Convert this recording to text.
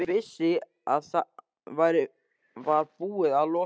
Hann vissi að það var búið að loka